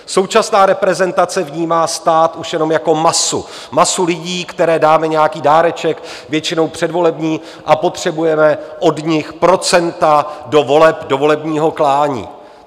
Současná reprezentace vnímá stát už jenom jako masu, masu lidí, které dáme nějaký dáreček, většinou předvolební, a potřebujeme od nich procenta do voleb, do volebního klání.